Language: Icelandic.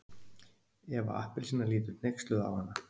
Eva appelsína lítur hneyksluð á hana.